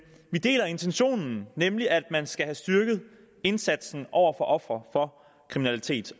vi deler intentionen nemlig at man skal have styrket indsatsen over for ofre for kriminalitet